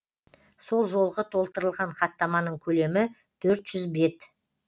сол жолғы толтырылған хаттаманың көлемі төрт жүз бет